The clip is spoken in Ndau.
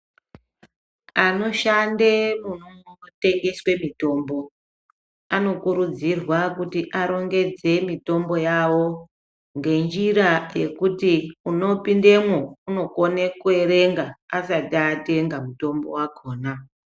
Anoshande munotengeswe mitombo anokurudzirwa kuti arongodze mitombo yavo , ngenjira yekuti unopindemwo ukone kuyerenga asati atenga mutombo yakona.